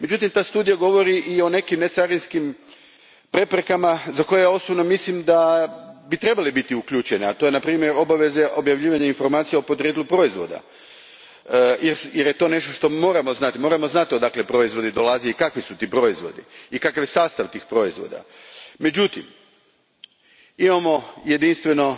Međutim, ta studija govori i o nekim necarinskim preprekama za koje osobno mislim da bi trebale biti uključene, a to je na primjer obaveza objavljivanja informacija o podrijetlu proizvoda jer je to nešto što moramo znati, moramo znati odakle proizvodi dolaze, kakvi su ti proizvodi i kakav je sastav tih proizvoda. Međutim, imamo jedinstveno